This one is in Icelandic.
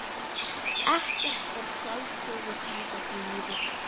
Ekkert er sjálfgefið í þessu lífi.